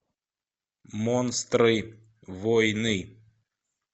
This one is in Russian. монстры войны